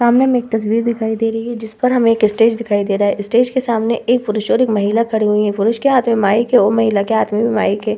सामने हमे एक तस्वीर दिखाई दे रही है जिसपर हमें एक स्टेज दिखाई दे रहा है स्टेज के सामने एक पुरुष और एक महिला खड़े हुए हैं पुरुष के हाथ में माइक है और महिला के हाथ में भी माइक है ।